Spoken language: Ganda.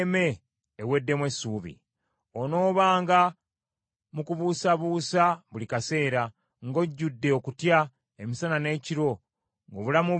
Onoobanga mu kubuusabuusa buli kaseera, ng’ojjudde okutya emisana n’ekiro, ng’obulamu bwo tobwekakasa.